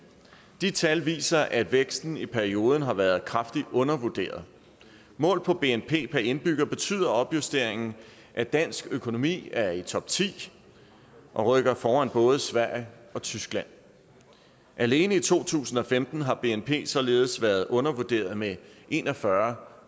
de tal viser at væksten i perioden har været kraftigt undervurderet målt på bnp per indbygger betyder opjusteringen at dansk økonomi er i topti og rykker foran både sverige og tyskland alene i to tusind og femten har bnp således været undervurderet med en og fyrre